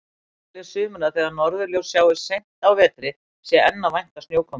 Einnig telja sumir að þegar norðurljós sjáist seint á vetri sé enn að vænta snjókomu.